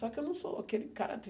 Só que eu não sou aquele cara